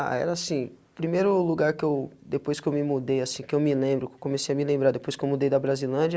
Ah, era assim, primeiro o lugar que eu, depois que eu me mudei assim, que eu me lembro, comecei a me lembrar depois que eu mudei da Brasilândia,